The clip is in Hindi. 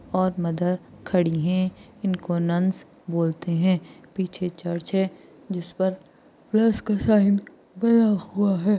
और मदर खड़ी है और इनको नन्स बोलते है पीछे चर्च हैं जिस पर प्लस का साइन बना हुआ हैं।